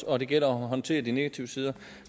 og at det gælder om at håndtere de negative sider